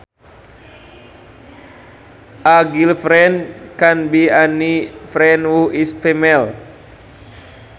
A girlfriend can be any friend who is female